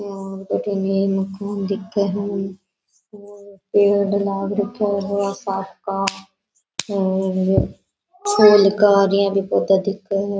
दिखे है और पेड़ लाग रखे है बहोत सारा का और छोल का भी पौधा दिखे है।